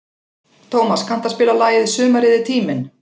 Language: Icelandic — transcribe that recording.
Tómas, kanntu að spila lagið „Sumarið er tíminn“?